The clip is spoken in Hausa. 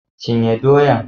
Cinye doyan!